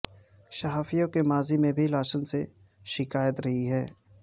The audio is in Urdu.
صحافیوں کو ماضی میں بھی لاسن سے شکایت رہی ہے